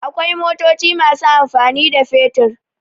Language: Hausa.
Akwai motoci masu amfani da fetur.